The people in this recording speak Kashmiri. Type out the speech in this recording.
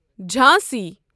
جھانسی